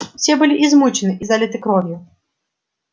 все были измучены и залиты кровью